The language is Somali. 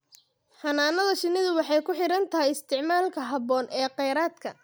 Xannaanada shinnidu waxay ku xiran tahay isticmaalka habboon ee kheyraadka.